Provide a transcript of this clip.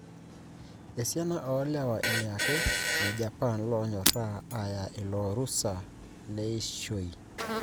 Esiana o lewa ile ake le Japan lonyoraa aya ilo rusa leishoi.